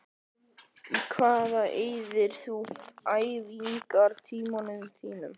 Í hvað eyðir þú æfingartímanum þínum?